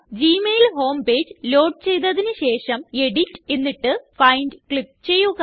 Gmail home page load ചെയ്തതിന് ശേഷം edit എന്നിട്ട് ഫൈൻഡ് ക്ലിക്ക് ചെയ്യുക